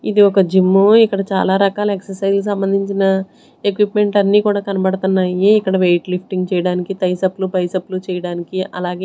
ఇది ఒక జిమ్ ఇక్కడ చాలా రకాల ఎక్ససైస్ లకి సంబంధించిన ఎక్విప్మెంట్ అన్నీ కూడా కనబడుతున్నాయి ఇక్కడ వెయిట్ లిఫ్టింగ్ చేయడానికి ట్రైసెప్లు బైసప్లు చేయడానికి అలాగే.